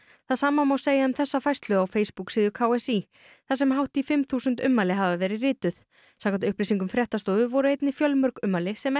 það sama má segja um þessa færslu á Facebook síðu k s í þar sem hátt í fimm þúsund ummæli hafa verið rituð samkvæmt upplýsingum fréttastofu voru einnig fjölmörg ummæli sem